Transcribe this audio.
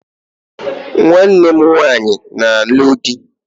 Nwanne m nwaanyị na-alụ di